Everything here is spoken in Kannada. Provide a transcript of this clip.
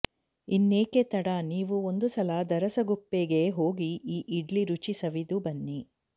ಇನ್ನೇಕೆ ತಡ ನೀವೂ ಒಂದು ಸಲಾ ದರಸಗುಪ್ಪೆಗೆ ಹೋಗಿ ಈ ಇಡ್ಲಿ ರುಚಿ ಸವಿದು ಬನ್ನಿ